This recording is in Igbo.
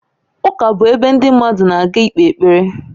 Ụka bụ ebe ndị mmadụ na-aga ikpe ekpere